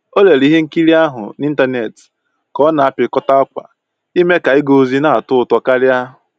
O lere ihe nkiri ahụ na ịntanetị ka ọ na apịkọta akwa ime ka ịga ozi na atọ ụtọ karịa